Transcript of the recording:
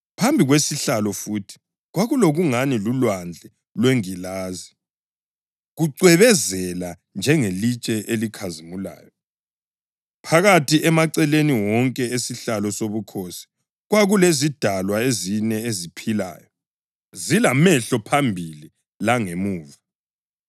Phambi kwesihlalo futhi kwakulokungani lulwandle lwengilazi, kucwebezela njengelitshe elikhazimulayo. Phakathi, emaceleni wonke esihlalo sobukhosi, kwakulezidalwa ezine eziphilayo, zilamehlo phambili langemuva.